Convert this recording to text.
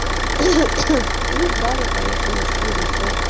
и дали поехали что ещё